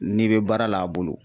N'i bɛ baara la a bolo